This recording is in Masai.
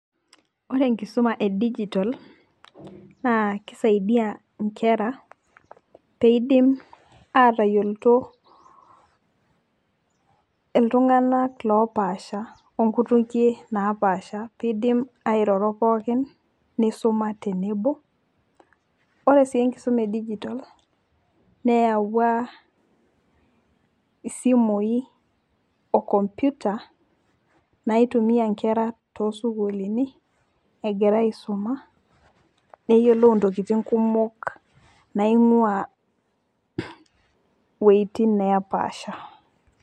ore enkisuma e digital naa kisaidia nkera, pee idim aatayiolito, iltunganak loopasha, onkutukie naapasha, pee eidim airoro pookin, nisuma tenebo. ore sii enkisuma e digital neyawua, isimui o computer naitumia nkera toosukuulini egira aisum, neyiolou intokitin kumok naingua iweujitin nepaasha.